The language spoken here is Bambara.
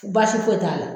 Basi foyi t'a la